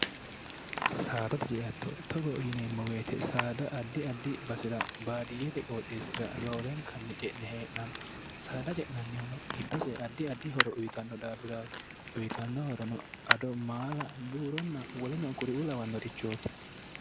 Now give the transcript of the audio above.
saada ti jeatto togo yineemmo beete saada addi addi basi'ra baadiyyete qooxeessira loolenkanni ce'ne hee'nanni saada ce'nannihuno giddose addi addi horo uyitanno daafiraati uyitannohorono ado maala buuronna wolenoo kuri u lawannoorichooti